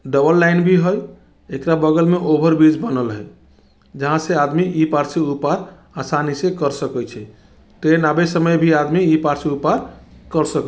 double line भी हउ एकरा बगल में ओवर ब्रिज बनल है जहां ई पर से उ पार आसानी से कर सकै छे ट्रेन आवय समय भी आदमी इ पार से उ पार कर सको --